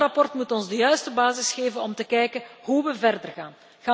Dat verslag moet ons de juiste basis geven om te kijken hoe we verder gaan.